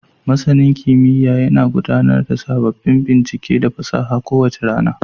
Masanin kimiyya yana gudanar da sababbin bincike da fasaha kowace rana.